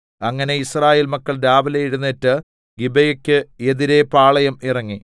അങ്ങനെ യിസ്രായേൽ മക്കൾ രാവിലെ എഴുന്നേറ്റ് ഗിബെയെക്ക് എതിരെ പാളയം ഇറങ്ങി